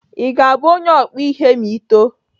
Ị ga-abụ onye ọkpụ ihe ma Ị too?